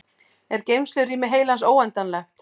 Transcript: er geymslurými heilans óendanlegt